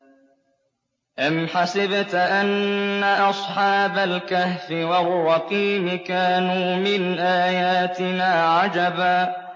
أَمْ حَسِبْتَ أَنَّ أَصْحَابَ الْكَهْفِ وَالرَّقِيمِ كَانُوا مِنْ آيَاتِنَا عَجَبًا